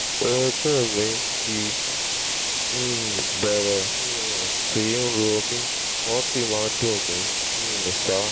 àwọn orúnkún mi ti um bẹ̀rẹ̀ um sí í ro mí wọ́n sì máa ń dùn mí um ṣáá